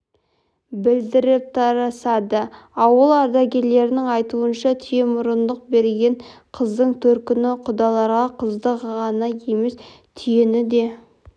білдіріп тарасады ауыл ардагерлерінің айтуынша түйемұрындық бергенде қыздың төркіні құдаларға қызды ғана емес түйені де